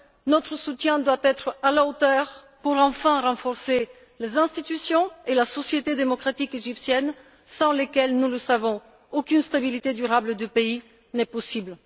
Notre soutien doit être à la hauteur pour enfin renforcer les institutions et la société démocratique égyptienne sans lesquelles, nous le savons, aucune stabilité durable du pays n'est possible.